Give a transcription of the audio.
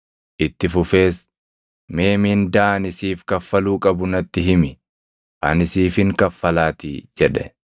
Itti fufees, “Mee mindaa ani siif kaffaluu qabu natti himi; ani siifin kaffalaatii” jedhe.